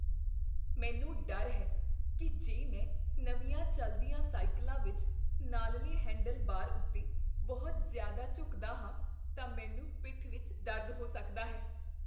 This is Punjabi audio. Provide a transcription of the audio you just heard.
ਮੈਨੂੰ ਡਰ ਹੈ ਕੀ ਜੇ ਮੈਂ ਨਵੀਆਂ ਚੱਲਦੀਆਂ ਸਾਈਕਲਾਂ ਵਿੱਚ ਨਾਲਲੇ ਹੈਂਡਲਬਾਰ ਉੱਤੇ ਬਹੁਤ ਜ਼ਿਆਦਾ ਝੁਕਦਾ ਹਾਂ ਤਾਂ ਮੈਨੂੰ ਪਿੱਠ ਵਿਚ ਦਰਦ ਹੋ ਸਕਦਾ ਹੈ।